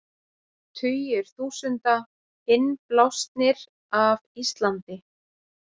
Tugir þúsunda innblásnir af Íslandi